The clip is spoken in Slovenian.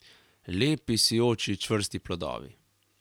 Lepi, sijoči, čvrsti plodovi.